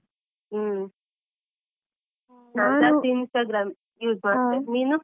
ಹ್ಮ್ ನಾನು ಜಾಸ್ತಿ Instagram use ಮಾಡ್ತೆ ನೀನು?